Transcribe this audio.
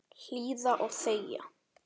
Hlýða og þegja.